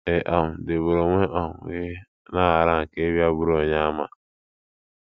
Ị um dịgburu onwe um gị n’aghara nke ịbịa bụrụ Onyeàmà.